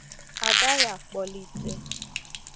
A gaghị akpọlite